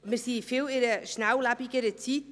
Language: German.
Wir sind in einer viel schnelllebigeren Zeit.